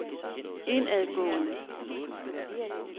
indadgående